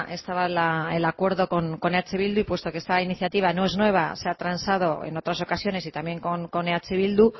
estaba el acuerdo con eh bildu y puesto que esta iniciativa no es nueva se ha transado en otras ocasiones y también con eh bildu